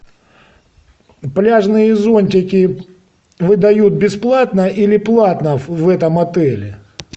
пляжные зонтики выдают бесплатно или платно в этом отеле